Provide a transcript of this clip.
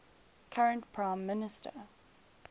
current prime minister